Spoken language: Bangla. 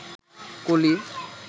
কলি